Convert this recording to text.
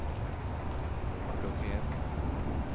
blokkert